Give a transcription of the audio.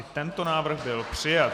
I tento návrh byl přijat.